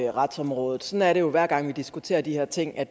og retsområdet sådan er det jo hver gang vi diskuterer de her ting at